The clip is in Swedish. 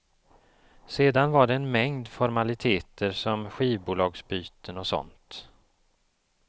Sedan var det en mängd formaliteter som skivbolagsbyten och sånt.